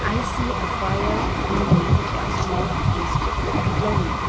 i see a fire been made but smoke is blowing.